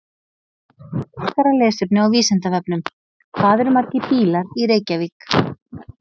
Frekara lesefni á Vísindavefnum: Hvað eru margir bílar í Reykjavík?